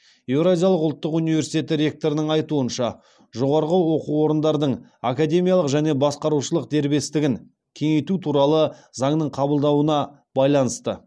еуразиялық ұлттық университеті ректорының айтуынша жоғарғы оқу орындардың академиялық және басқарушылық дербестігін кеңейту туралы заңның қабылдауына байланысты